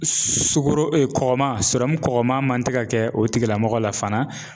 Sukoro kɔgɔman kɔkɔma man tɛ ka kɛ o tigilamɔgɔ la fana